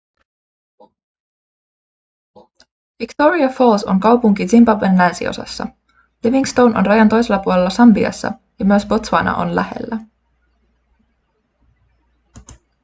victoria falls on kaupunki zimbabwen länsiosassa livingstone on rajan toisella puolella sambiassa ja myös botswana on lähellä